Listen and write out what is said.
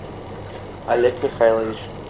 олег михайлович